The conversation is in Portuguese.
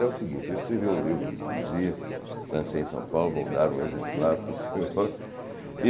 É o seguinte, eu escrevi um livro de poesia, lancei em São Paulo, vou dar um exemplar para o senhor.